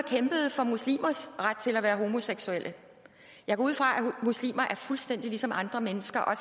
og kæmpede for muslimers ret til at være homoseksuelle jeg går ud fra at muslimer er fuldstændig ligesom andre mennesker og